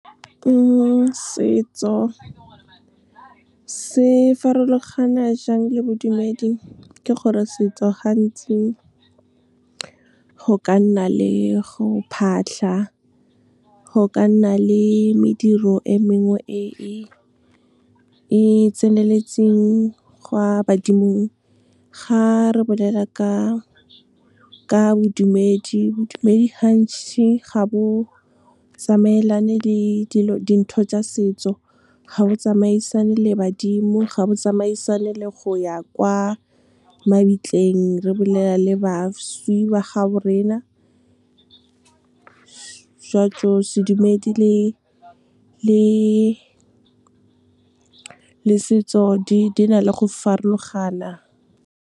Setso se farologana jang le bodumedi, ke gore setso gantsi go ka nna le go phahla, go ka nna le mediro e mengwe e e tseneletseng, gwa badimo. Ga re bolela ka bodumedi, badumedi hantši ga bo tsamaelane le dintho tsa setso, ga bo tsamaisane le badimo, ga bo tsamaisane le go ya kwa mabitleng, re bolela le bašwi ba gabo rena. Sedumedi le setso di na le go farologana. Setso se farologana jang le bodumedi, ke gore setso gantsi go ka nna le go phahla, go ka nna le mediro e mengwe e e tseneletseng, gwa badimo. Ga re bolela ka bodumedi, badumedi hantši ga bo tsamaelane le dintho tsa setso, ga bo tsamaisane le badimo, ga bo tsamaisane le go ya kwa mabitleng, re bolela le bašwi ba gabo rena. Sedumedi le setso di na le go farologana.